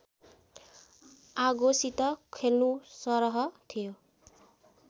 आगोसित खेल्नुसरह थियो।